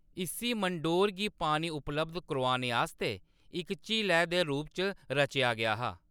इस्सी मंडोर गी पानी उपलब्ध करोआने आस्तै इक झीलै दे रूप च रचेआ गेआ हा।